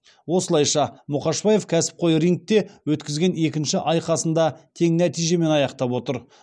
осылайша мұқашбаев кәсіпқой рингте өткізген екінші айқасын да тең нәтижемен аяқтап отыр